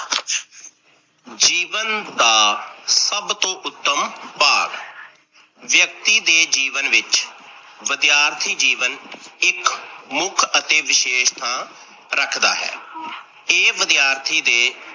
ਜੀਵਨ ਦਾ ਸਭ ਤੋਂ ਉੱਤਮ ਭਾਗ ਵਿਅਕਤੀ ਦੇ ਜੀਵਨ ਵਿੱਚ ਵਿਦਿਆਰਥੀ ਜੀਵਨ ਇੱਕ ਮੁੱਖ ਅਤੇ ਵਿਸ਼ੇਸ਼ ਥਾਂ ਰੱਖਦਾ ਹੈ। ਇਹ ਵਿਦਿਆਰਥੀ ਦੇ